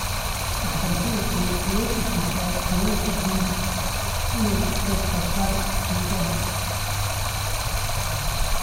Waxbarashadu waxay awood u siisaa haweenka rer inay ka qayb qaataan bulshada.